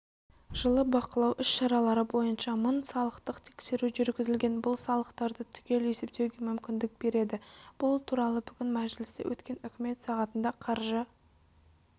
жылы бақылау іс-шаралары бойынша мың салықтық тексеру жүргізілген бұл салықтарды түгел есептеуге мүмкіндік береді бұл туралыбүгін мәжілісте өткен үкімет сағатында қаржы